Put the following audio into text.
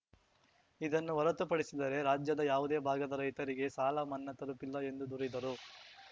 ಇದನ್ನು ಹೊರತುಪಡಿಸಿದರೆ ರಾಜ್ಯದ ಯಾವುದೇ ಭಾಗದ ರೈತರಿಗೆ ಸಾಲ ಮನ್ನಾ ತಲುಪಿಲ್ಲ ಎಂದು ದೂರಿದರು